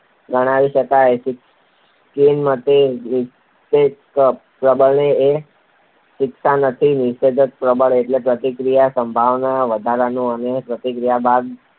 ગણાવી શકાય પરંતુ સ્કિનરના મતે નિષેધક પ્રબલન એ શિક્ષા નથી. નિષેધક પ્રબલન એટલે પ્રતિક્રિયાની સંભાવના વધારનારું અને પ્રતિક્રિયા બાદ